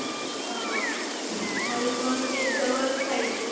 हं म्हणुन एकदमच पाहिजे.